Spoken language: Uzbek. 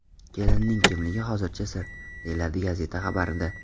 Kelinning kimligi hozircha sir”, deyiladi gazeta xabarida.